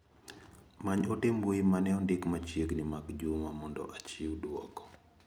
Many ote mbui mane ondiki machiegni mag Juma mondo achiw duoko.